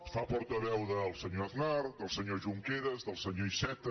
es fa portaveu del senyor aznar del senyor junqueras del senyor iceta